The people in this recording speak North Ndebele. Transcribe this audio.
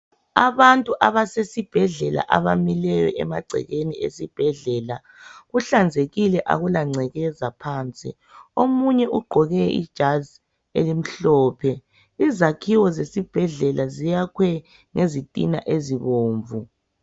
Abantu abasesibhedlela abamileyo emagcekeni esibhedlela. Kuhlanzekile akula ngcekeza phansi. Omunye ogqoke ijazi elimhlophe. Izakhiwo zesibhedlela ziyakhwe ngezitina ezibomvu.